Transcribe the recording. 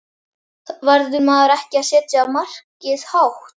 Verður maður ekki að setja markið hátt?